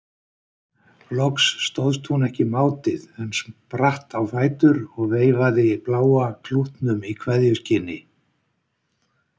Loks stóðst hún ekki mátið en spratt á fætur og veifaði bláa klútnum í kveðjuskyni.